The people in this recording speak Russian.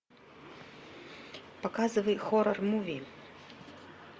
показывай хоррор муви